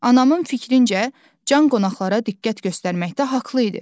Anamın fikrincə can qonaqlara diqqət göstərməkdə haqlı idi.